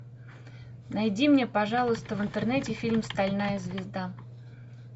найди мне пожалуйста в интернете фильм стальная звезда